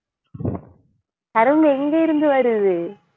கரும்பு எங்க இருந்து வருது